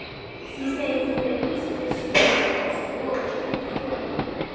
Því þeir eru kurteis þjóð.